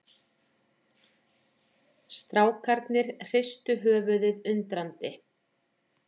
Strákarnir hristu höfuðið undrandi.